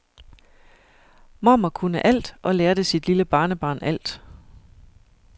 Mormor kunne alt og lærte sit lille barnebarn alt.